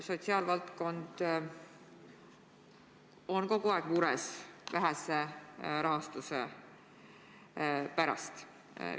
Sotsiaalvaldkond on kogu aeg mures vähese rahastuse pärast.